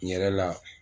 N yɛrɛ la